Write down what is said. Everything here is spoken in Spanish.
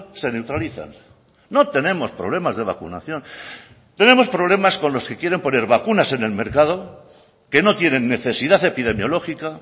se neutralizan no tenemos problemas de vacunación tenemos problemas con los que quieren poner vacunas en el mercado que no tienen necesidad epidemiológica